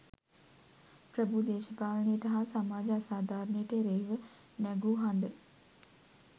ප්‍රභූ දේශපාලනයට හා සමාජ අසාධාරණයට එරෙහිව නැගූ හඬ